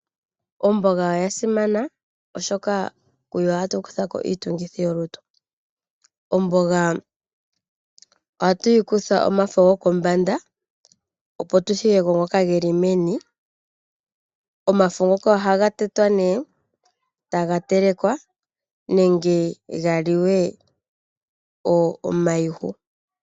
Omboga oya simana oshoka kuyo ohatu kuthako iitungithi yolutu. Omboga ohatu yi kutha omafo gokombanda opo tuthigeko ngoka geli meni. Omafo ngoka ohaga tetwa nee etaga telekwa nenge ga liwe omayihu.